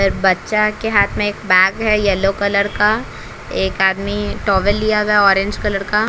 बच्चा के हाथ में एक बैग है येलो कलर का एक आदमी टॉवल लिया हुआ है ऑरेंज कलर का--